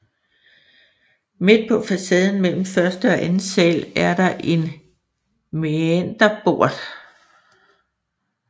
Midt på facaden mellem første og anden sal er der en mæanderbort